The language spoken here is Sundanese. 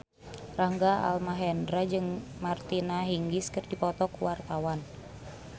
Rangga Almahendra jeung Martina Hingis keur dipoto ku wartawan